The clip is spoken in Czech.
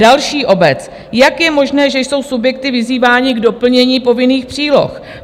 Další obec: "Jak je možné, že jsou subjekty vyzývány k doplnění povinných příloh?